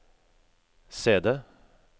CD